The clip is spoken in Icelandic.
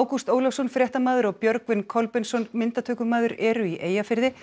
Ágúst Ólafsson fréttamaður og Björgvin Kolbeinsson myndatökumaður eru í Eyjafirði